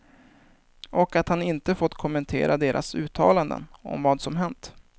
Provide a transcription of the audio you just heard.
Och att han inte fått kommentera deras uttalanden om vad som hänt.